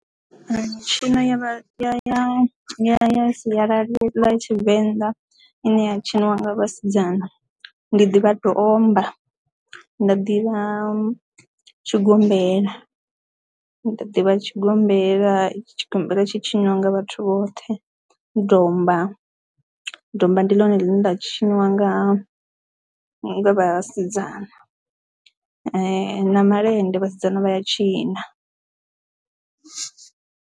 Mitshino ya ya ya sialala tshivenḓa ine ya tshiniwa nga vhasidzana ndi ḓivha domba nda ḓivha tshigombela ndi ḓivha tshigombela tshigombela tshitshi nyanga vhathu vhoṱhe domba domba ndi ḽone ḽine nda tshiniwa nga vhasidzana na malende vhasidzana vha ya tshina.